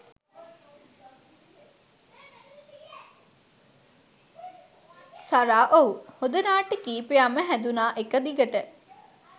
සරා ඔව් හොඳ නාට්‍ය කීපයක් ම හැදුණා එක දිගට.